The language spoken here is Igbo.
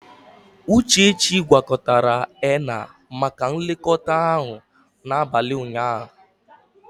Uchechi gwakọtara henna maka nlekọta ahụ n'abalị ụnyaahụ.